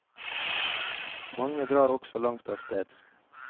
Mange drar også langt av sted.